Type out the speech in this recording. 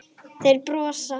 Þeir brosa.